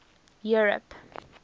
europe